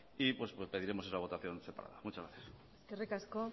y pediremos esa votación separada muchas gracias eskerrik asko